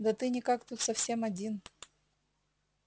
да ты никак тут совсем один